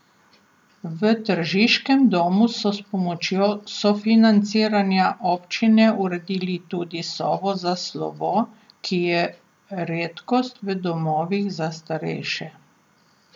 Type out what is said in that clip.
V tržiškem domu so s pomočjo sofinanciranja občine uredili tudi sobo za slovo, ki je redkost v domovih za starejše.